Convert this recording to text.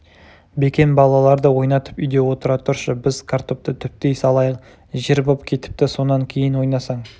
бекен балаларды ойнатып үйде отыра тұршы біз картопты түптей салайық жер боп кетіпті сонан кейін ойнасаң